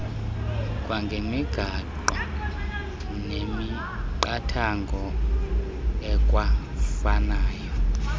kwangemigaqo nemiqathango ekwafanayo